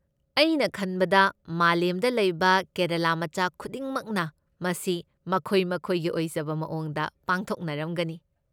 ꯑꯩꯅ ꯈꯟꯕꯗ ꯃꯥꯂꯦꯝꯗ ꯂꯩꯕ ꯀꯦꯔꯂꯥ ꯃꯆꯥ ꯈꯨꯗꯤꯡꯃꯛꯅ ꯃꯁꯤ ꯃꯈꯣꯏ ꯃꯈꯣꯏꯒꯤ ꯑꯣꯏꯖꯕ ꯃꯑꯣꯡꯗ ꯄꯥꯡꯊꯣꯛꯅꯔꯝꯒꯅꯤ꯫